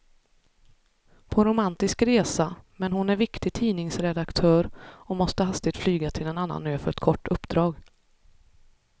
På romantisk resa, men hon är viktig tidningsredaktör och måste hastigt flyga till en annan ö för ett kort uppdrag.